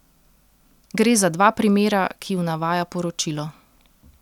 Gre za dva primera, ki ju navaja poročilo.